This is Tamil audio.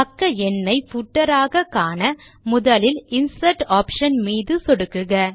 பக்க எண்ணை பூட்டர் ஆக காண முதலில் இன்சர்ட் ஆப்ஷன் மீது சொடுக்குக